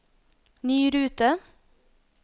ny rute